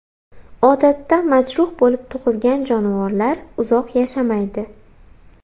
Odatda majruh bo‘lib tug‘ilgan jonivorlar uzoq yashamaydi.